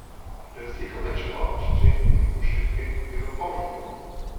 Razlika med čevapčiči in uštipki je v polnjenju.